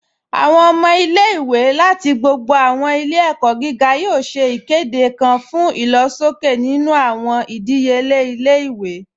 Awọn ọmọ ilẹ̀-iwé lati gbogbo awọn ilẹ̀-ẹ̀kọ giga yoo ṣè ikede kan fun ilọ̀ṣọkẹ̀ nínu awọn idíyelẹ̀ ilẹ̀-iwé